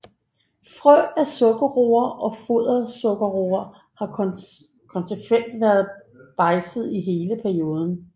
Frø af sukkerroer og fodersukkerroer har konsekvent været bejdset i hele perioden